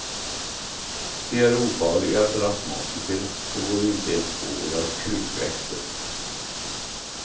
De är ofarliga för astmatiker och går inte ens på våra krukväxter.